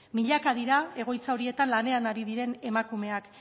milaka dira egoitza horietan lanean ari diren emakumeak